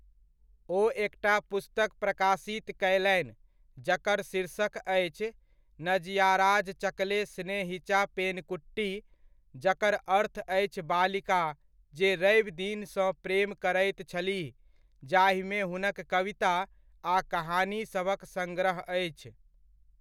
ओ एकटा पुस्तक प्रकाशित कयलनि जकर शीर्षक अछि नजयाराजचकले स्नेहिचा पेनकुट्टी, जकर अर्थ अछि बालिका जे रवि दिन सँ प्रेम करैत छलीह, जाहिमे हुनक कविता आ कहानी सभक सङ्ग्रह अछि।